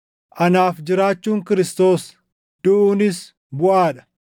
Anaaf jiraachuun Kiristoos; duʼuunis buʼaa dha.